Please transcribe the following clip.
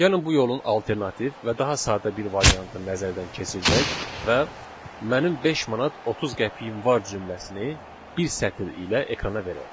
Gəlin bu yolun alternativ və daha sadə bir variantı nəzərdən keçirdək və mənim 5 manat 30 qəpiyim var cümləsini bir sətr ilə ekrana verək.